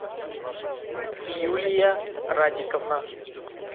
юлия радиковна